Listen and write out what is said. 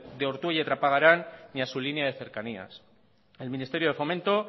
de ortuella y trapagarán ni a su línea de cercanías el ministerio de fomento